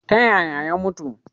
Ta yaya ya mutu?